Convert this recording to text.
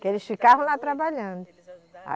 Porque eles ficavam lá trabalhando. Eles ajudaram